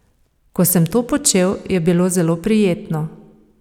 Ko sem to počel, je bilo zelo prijetno.